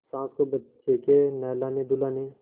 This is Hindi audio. सास को बच्चे के नहलानेधुलाने